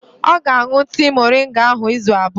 Ọ ga-aṅụ tii moringa ahụ izu abụọ.